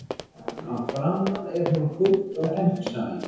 Að framan er hún kúpt og gegnsæ.